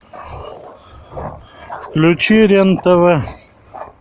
включи рен тв